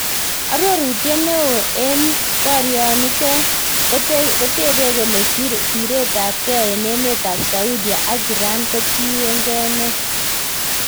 Arorutiet neoo en bariot niten kotepe kole siret ab gee en emet ab Saudia ak Iran kotinge nee?